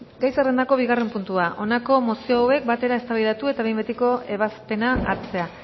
gai zerrendako bigarren puntua honako mozio hauek batera eztabaidatu eta behin betiko ebazpena hartzea